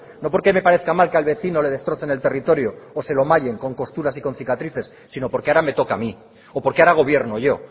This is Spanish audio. no porque me parezca mal que al vecino le destrocen el territorio que se lo mayen con costuras y con cicatrices sino porque ahora me toca a mí o porque ahora gobierno yo